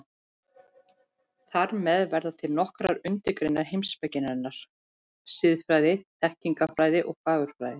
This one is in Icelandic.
Þar með verða til nokkrar undirgreinar heimspekinnar: Siðfræði, þekkingarfræði, fagurfræði.